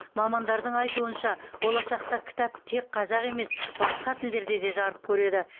мамандардың айтуынша болашақта кітап тек қазақ емес басқа тілдерде де жарық көреді